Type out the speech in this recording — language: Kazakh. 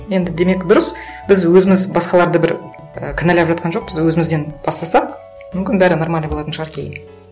енді демек дұрыс біз өзіміз басқаларды бір і кінәлап жатқан жоқпыз өзімізден бастасақ мүмкін бәрі нормально болатын шығар кейін